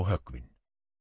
höggvinn